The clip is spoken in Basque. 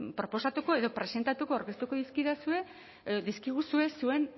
proposatuko edo presentatuko aurkeztuko dizkidazue edo dizkiguzue zuen